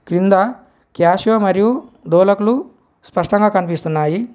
కింద క్యాషియో మరియు డోలకులు స్పష్టంగా కన్పిస్తున్నాయి.